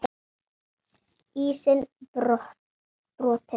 Ísinn brotinn